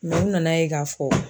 Nu nana ye k'a fɔ.